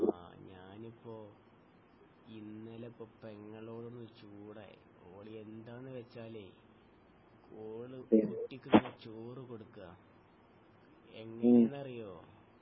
ആഹ് ഞാനിപ്പൊ ഇന്നലെപ്പൊ പെങ്ങളോട് ചൂടായി ഓൾ എന്താന്ന് വെച്ചാലെ ഓൾ കുട്ടിക്ക് ഇങ്ങനെ ചോർ കൊടുത്തതാ എങ്ങിനെന്ന് അറിയോ